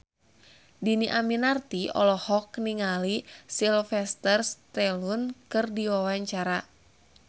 Dhini Aminarti olohok ningali Sylvester Stallone keur diwawancara